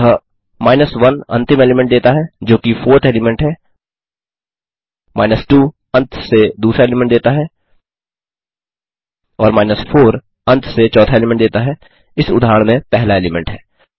अतः 1 अंतिम एलीमेंट देता है जोकि 4थ एलीमेंट है 2 अंत से दूसरा एलीमेंट देता है और 4 अंत से चौथा एलीमेंट देता है इस उदहारण में पहला एलीमेंट है